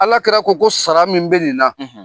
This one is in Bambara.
Alakira ko ko sara min bɛ nin na, .